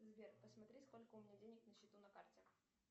сбер посмотри сколько у меня денег на счету на карте